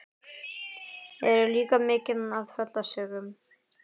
Hér er líka mikið af tröllasögum.